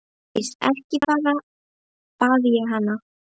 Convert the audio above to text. Ásdís, ekki fara, bað ég hana.